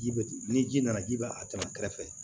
Ji be ni ji nana ji b'a tɛmɛ kɛrɛfɛ